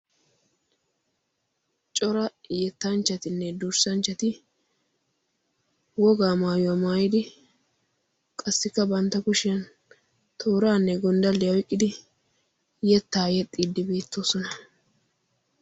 Cora yettanchchatinne durssanchchat wogaa maayuwa maayidi qassikka bantta kushiyan tooraanne gonddalliya oyqqidi yettaa yexxiiddi beettoosona.